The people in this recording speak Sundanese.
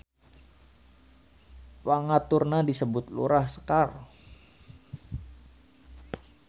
Pangaturna disebut Lurah Sekar.